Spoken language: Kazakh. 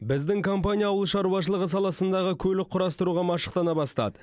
біздің компания ауылшаруашылық саласындағы көлік құрастыруға машықтана бастады